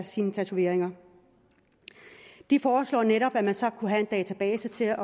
sine tatoveringer de foreslog netop at man så kunne have en database til at